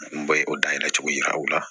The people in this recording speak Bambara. N bɔ o dayɛlɛcogo yira u la